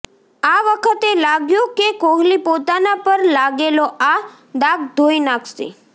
આ વખતે લાગ્યું કે કોહલી પોતાના પર લાગેલો આ દાગ ધોઈ નાખશે